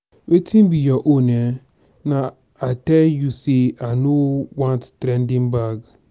wetin be your own um na i tell you say i no want trending bag. bag.